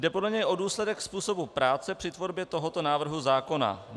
Jde podle něj o důsledek způsobu práce při tvorbě tohoto návrhu zákona.